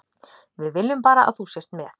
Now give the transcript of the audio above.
Við viljum bara að þú sért með.